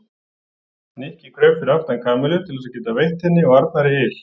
Nikki kraup fyrir aftan Kamillu til þess að geta veitt henni og Arnari yl.